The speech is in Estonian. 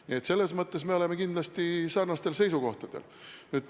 Nii et selles mõttes me oleme kindlasti sarnastel seisukohtadel.